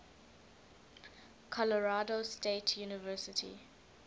colorado state university